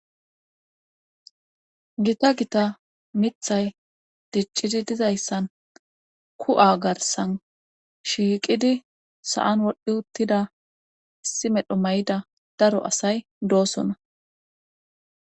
Gita gita mithay diccidi dizayssan ku'a garsan shiiqidi sa'an wodhdhi uttida issi medho may'ida daro asay doosona